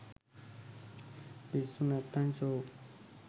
පිස්සු නැත්තං සෝක්